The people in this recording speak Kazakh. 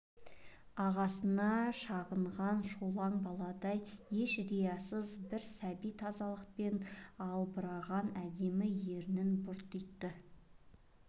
ағасына шағынған шолжаң баладай еш риясыз бір сәби тазалықпен албыраған әдемі ернін бұртитты